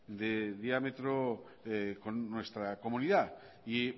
de diámetro con nuestra comunidad y